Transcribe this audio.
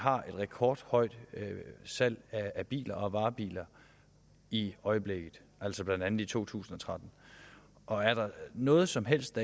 har et rekordhøjt salg af biler og varebiler i øjeblikket altså blandt andet i to tusind og tretten og er der noget som helst